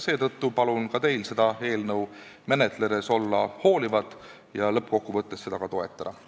Seetõttu palun teil seda eelnõu menetledes olla hoolivad ja lõppkokkuvõttes seda toetada.